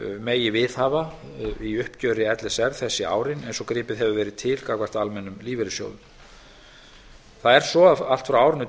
megi viðhafa í uppgjöri l s r þessi árin eins og gripið hefur verið til gagnvart almennum lífeyrissjóðum það er svo að allt frá árinu tvö